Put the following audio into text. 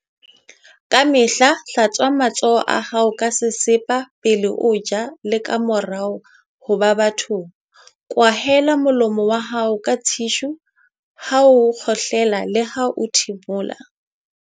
Kamehla hlatswa matsoho a hao ka sesepa pele o ja le kamora ho ba bathong. Kwahela molomo wa hao ka thishu ha o kgohlela leha ho thimola.